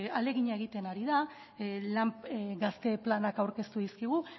ahalegina egiten ari da lan gazte planak aurkeztu dizkigu